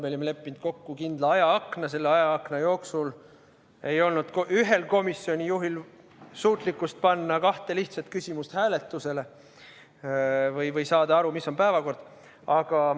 Me olime leppinud kokku kindla ajaakna, aga selle ajaakna jooksul ei olnud ühel komisjoni juhil suutlikkust panna kahte lihtsat küsimust hääletusele või saada aru, mis on päevakord.